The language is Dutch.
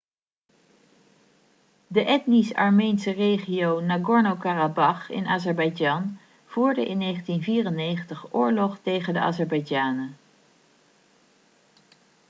de etnisch armeense regio nagorno-karabach in azerbeidzjan voerde in 1994 oorlog tegen de azerbeidzjanen